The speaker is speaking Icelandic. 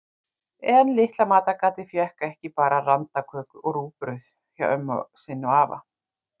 En litla matargatið fékk ekki bara randaköku og rúgbrauð hjá ömmu sinni og afa.